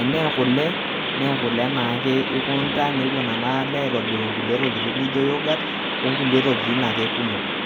enee kule nee kule naake ikunta nepuo nena kule aitobir ng'ulie tookin nijo youghurt o nkulie tokitin ake kumok.